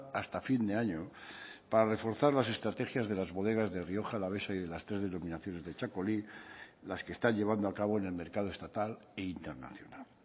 hasta fin de año para reforzar las estrategias de las bodegas de rioja alavesa y de las tres denominaciones de txakoli las que están llevando a cabo en el mercado estatal e internacional